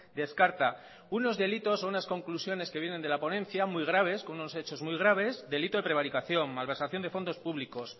descarta unos delitos o unas conclusiones que vienen de la ponencia muy graves con unos hechos muy graves delito de prevaricación malversación de fondos públicos